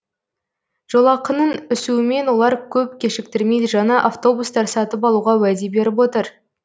жолақының өсуімен олар көп кешіктірмей жаңа автобустар сатып алуға уәде беріп отыр